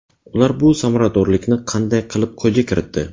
Ular bu samaradorlikni qanday qilib qo‘lga kiritdi?